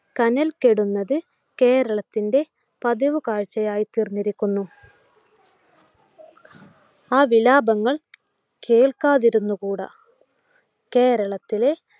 കനൽ കെടുന്നത്‌ കേരളത്തിൻ്റെ പതിവ് കാഴ്ചയായി തീർന്നിരിക്കുന്നു ആ വിലാപങ്ങൾ കേൾക്കാതിരുന്നുകൂടാ. കേരളത്തിൻ്റെ